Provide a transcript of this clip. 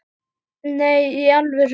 Nei, í alvöru